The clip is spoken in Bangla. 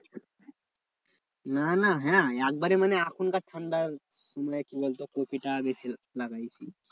না না হ্যাঁ একবারে মানে এখনকার ঠান্ডার মানে কি বলতো? কপিটা বেশি লাগাইছি।